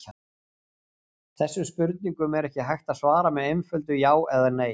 Þessum spurningum er ekki hægt að svara með einföldu já eða nei.